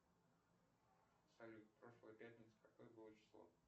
салют в прошлую пятницу какое было число